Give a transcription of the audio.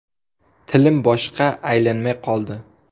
Tilim boshqa aylanmay qoldi.